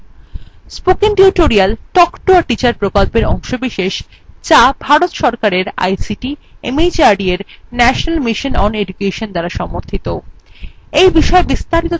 spoken tutorial talk to a teacher প্রকল্পের অংশবিশেষ যা ভারত সরকারের ict mhrd এর national mission on education দ্বারা সমর্থিত